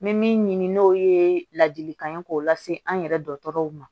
N bɛ min ɲini n'o ye ladilikan ye k'o lase an yɛrɛ dɔgɔtɔrɔw ma